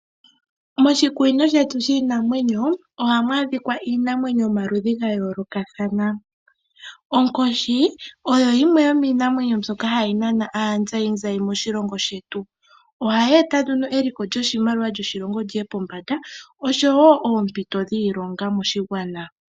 Moshikunino shiinamwenyo shetu ohamu adhika iinamwenyo yomaludhi ga yoolokathana. Onkoshi oyo yimwe yomiinamwenyo mbyoka hayi nana aatalelipo moshilongo shetu. Ohayi eta nduno eliko lyoshimaliwa lyoshilongo lyiye pombanda oshowo oompito dhiilonga moshigwana.